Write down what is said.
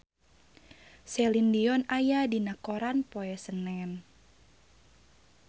Celine Dion aya dina koran poe Senen